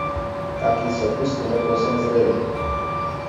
Kakiji so okusni le povsem zreli.